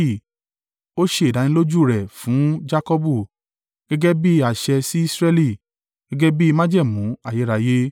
Ó ṣe ìdánilójú u rẹ̀ fún Jakọbu, gẹ́gẹ́ bí àṣẹ sí Israẹli, gẹ́gẹ́ bi májẹ̀mú ayérayé: